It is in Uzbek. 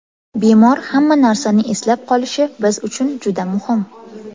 Bemor hamma narsani eslab qolishi biz uchun juda muhim”.